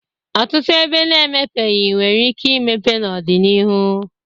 Ọtụtụ ebe na-emepeghị nwere ike ịmepe n'ọ dị n'ihu.